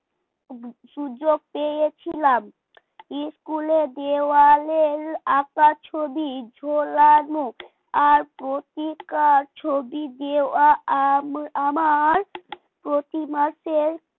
সুযোগ পেয়েছিলাম school দেয়ালের আঁকা ছবি ঝোলানো আর প্রতিটা ছবি দেওয়া আম আমার প্রতিমাতে